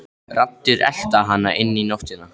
Raddir, elta hana inn í nóttina.